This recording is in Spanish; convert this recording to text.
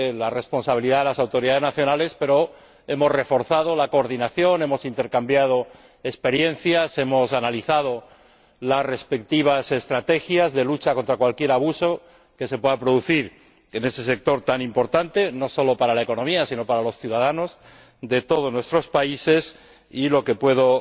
competencia de las autoridades nacionales, pero hemos reforzado la coordinación, hemos intercambiado experiencias, hemos analizado las respectivas estrategias de lucha contra cualquier abuso que se pueda producir en ese sector tan importante, no solo para la economía sino para los ciudadanos de todos nuestros países, y lo que puedo